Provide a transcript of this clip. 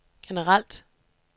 generelt